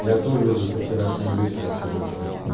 я тоже уже со вчерашнего вечера сижу жду